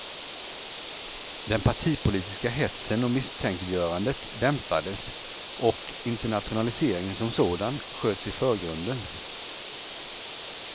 Den partipolitiska hetsen och misstänkliggörandet dämpades och internationaliseringen som sådan sköts i förgrunden.